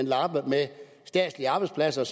lappe med statslige arbejdspladser